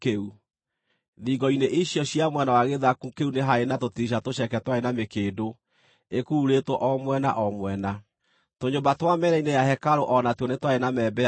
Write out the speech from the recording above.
Thingo-inĩ icio cia mwena wa gĩthaku kĩu nĩ haarĩ na tũtirica tũceke twarĩ na mĩkĩndũ ĩkururĩtwo o mwena o mwena. Tũnyũmba twa mĩena-inĩ ya hekarũ o na tuo nĩtwarĩ na membea ma mbaũ.